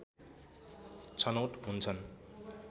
छनौट हुन्छन्